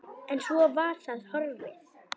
En svo var það horfið.